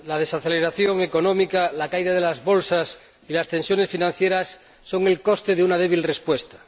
La desaceleración económica, la caída de las bolsas y las tensiones financieras son el coste de una débil respuesta.